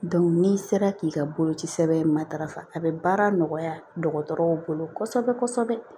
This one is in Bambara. n'i sera k'i ka boloci sɛbɛn matarafa a bɛ baara nɔgɔya dɔgɔtɔrɔw bolo kosɛbɛ kosɛbɛ